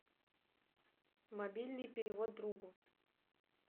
мобильный перевод другу